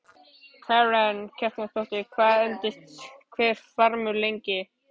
Karen Kjartansdóttir: Hvað endist hver farmur lengi?